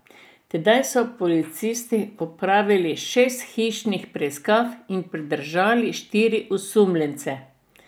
Tedaj so policisti opravili šest hišnih preiskav in pridržali štiri osumljence.